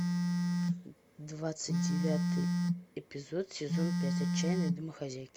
двадцать девятый эпизод сезон пять отчаянные домохозяйки